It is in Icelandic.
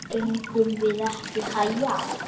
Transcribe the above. Eigum við ekki að æja?